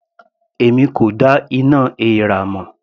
Èmi kò dá iná èèrà mọ̀.